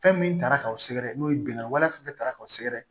Fɛn min taara k'aw sɛgɛrɛ n'o ye binganni wale fɛn fɛn tara k'aw sɛgɛrɛ